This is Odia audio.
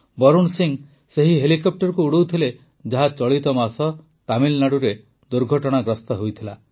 ବରୁଣ ସିଂ ସେହି ହେଲିକପ୍ଟରକୁ ଉଡ଼ାଉଥିଲେ ଯାହା ଚଳିତ ମାସ ତାମିଲନାଡ଼ୁରେ ଦୁର୍ଘଟଣାଗ୍ରସ୍ତ ହୋଇଗଲା